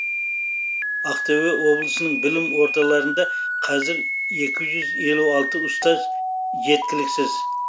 ақтөбе облысының білім ордаларында қазір екі жүз елу алты ұстаз жеткіліксіз